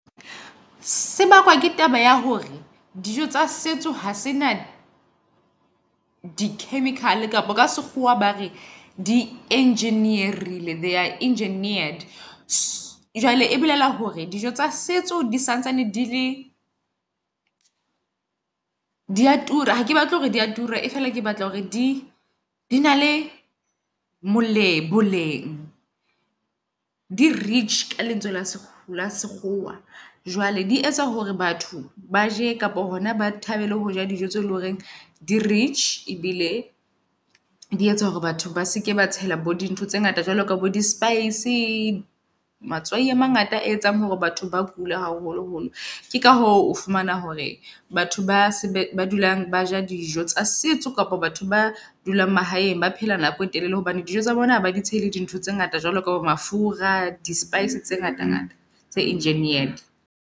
Sebakwa ke taba ya hore dijo tsa setso ha se na di chemical kapa ka sekgowa ba re di engineer-ile.. They are engineered. Jwale e bolela hore dijo tsa setso di santsane di le dia tura. Hake batle hore dia tura e feela, ke batla hore di di na le moleng boleng di rich ka lentswe la sekgowa. jwale di etsa hore batho baje kapa hona ba thabele hoja dijo tse loreng di rich, ebile di etsa hore batho ba seke ba tshela bo di ntho tse ngata. Jwalo ka bo di spice, matswai a mangata ae etsang hore batho ba kule haholo holo. Ke ka o fumana hore batho ba se ba dulang ba ja dijo tsa sets. Kapa batho ba dulang mahaeng, ba phela nako e telele hobane dijo tsa bona haba dutse le di ntho tse ngata, jwalo kapa mafura, di spice tse ngata ngata tse engineered.